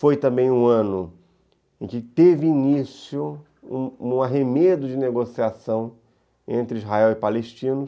Foi também um ano em que teve início um um arremedo de negociação entre Israel e palestinos.